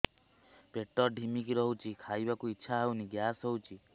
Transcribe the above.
ପେଟ ଢିମିକି ରହୁଛି ଖାଇବାକୁ ଇଛା ହଉନି ଗ୍ୟାସ ହଉଚି